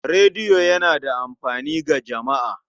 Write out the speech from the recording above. Rediyo yana da amfani ga jama'a.